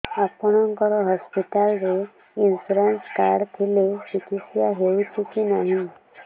ଆପଣଙ୍କ ହସ୍ପିଟାଲ ରେ insurance card ଥିଲେ ଚିକିତ୍ସା ହେଉଛି କି ନାଇଁ